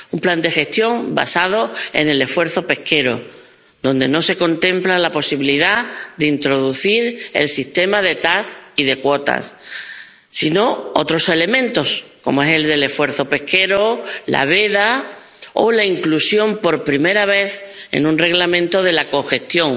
Un plan de gestión basado en el esfuerzo pesquero, donde no se contempla la posibilidad de introducir el sistema de TAC y de cuotas, sino otros elementos, como es el esfuerzo pesquero, la veda o la inclusión, por primera vez en un Reglamento, de la cogestión.